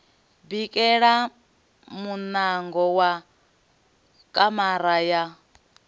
bikela muṋango wa kamara ya